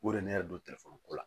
O de ne yɛrɛ don telefɔni ko la